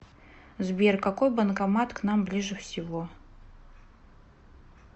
сбер какой банкомат к нам ближе всего